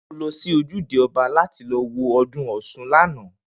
Ǹjé̩ o lo̩ sí ojúde o̩ba láti lo̩ wo o̩dún Ò̩s̩un lánàá?